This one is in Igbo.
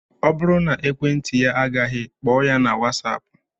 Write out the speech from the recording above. Ọ bụrụ na ekwentị ya agaghị, kpọọ ya na whatsapp